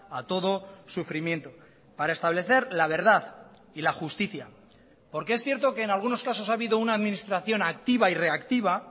a todo sufrimiento para establecer la verdad y la justicia porque es cierto que en algunos casos ha habido una administración activa y reactiva